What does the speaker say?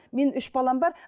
мен үш балам бар